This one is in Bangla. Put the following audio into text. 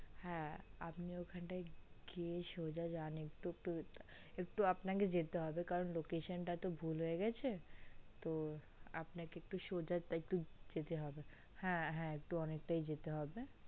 হা আপনি ওখান টা গিয়ে সোজা যান একটু একটু একটু গিয়ে একটু আপনাকে যেতে হবে কারণ location টা একটু ভুল হয়ে গেছে তো আপনাকে সোজা যেতে হবে হা হা অনেকটাই যেতে হবে